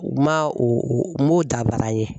U man o o o m'o dabara ye.